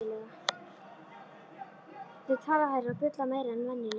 Þau tala hærra og bulla meira en venjulega.